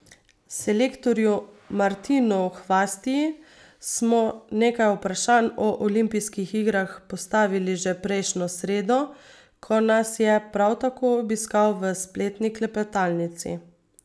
Selektorju Martinu Hvastiji smo nekaj vprašanj o olimpijskih igrah postavili že prejšnjo sredo, ko nas je prav tako obiskal v spletni klepetalnici.